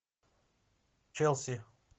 челси